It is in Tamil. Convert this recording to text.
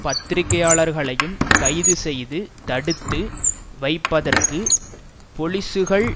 பத்திரிகையாளர்களையும் கைது செய்து தடுத்து வைப்பதற்கு பொலிசுகள்